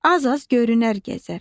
az-az görünər gəzər.